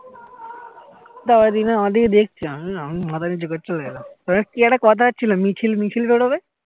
তারপর এ দেখলাম আমার দিকে দেখছে আমি মাথা নিচু করে চলে গেলাম কি একটা কথা হচ্ছিলো মিছিল বেরোবে